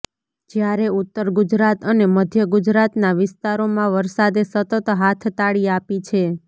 જ્યારે ઉત્તર ગુજરાત અને મધ્ય ગુજરાતના વિસ્તારોમાં વરસાદે સતત હાથતાળી આપી છે